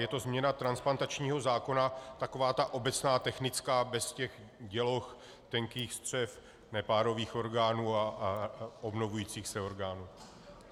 Je to změna transplantačního zákona, taková ta obecná technická, bez těch děloh, tenkých střev, nepárových orgánů a obnovujících se orgánů.